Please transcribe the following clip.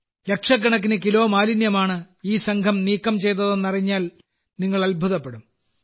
ലക്ഷക്കണക്കിന് കിലോ മാലിന്യമാണ് ഈ സംഘം നീക്കം ചെയ്തതെന്നറിഞ്ഞാൽ നിങ്ങൾ അത്ഭുതപ്പെടും